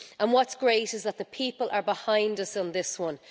Whatʼs great is that the people are behind us on this one.